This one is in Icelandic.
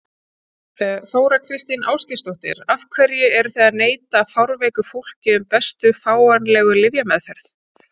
Þóra Kristín Ásgeirsdóttir: Af hverju eruð þið að neita fárveiku fólki um bestu fáanlegu lyfjameðferð?